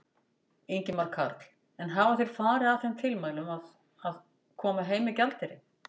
Ingimar Karl: En hafa þeir farið að þeim tilmælum að, að, koma heim með gjaldeyri?